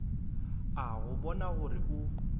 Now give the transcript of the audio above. a go bona gore o